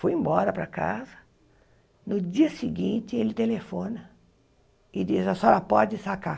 Fui embora para casa, no dia seguinte ele telefona e diz a senhora pode sacar.